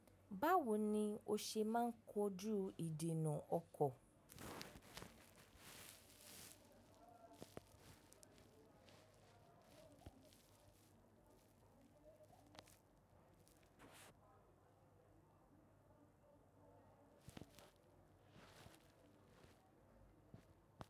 Báwo ni o ṣe máa ń kojú ìdènà ọkọ̀?